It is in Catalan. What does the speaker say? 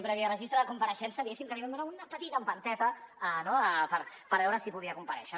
previ a registre de compareixença diguéssim que li vam donar una petita empenteta per veure si podia comparèixer